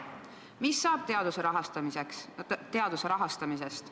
Mis saab teaduse rahastamisest?